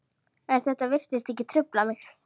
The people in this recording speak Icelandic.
En þetta virtist ekki trufla mig.